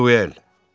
Duel.